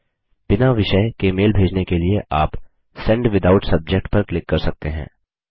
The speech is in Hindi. बिना विषयसब्जेक्ट के मेल भेजने के लिए आप सेंड विथआउट सब्जेक्ट पर क्लिक कर सकते हैं